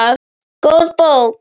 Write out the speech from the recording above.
Góð bók.